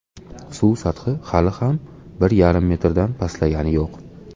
Suv sathi hali ham bir yarim metrdan pastlagani yo‘q.